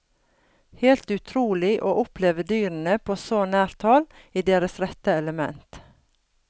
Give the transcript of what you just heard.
Helt utrolig å oppleve dyrene på så nært hold i deres rette element.